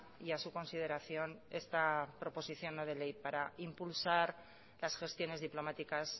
y a su consideración esta proposición no de ley para impulsar las gestiones diplomáticas